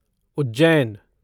Ujjain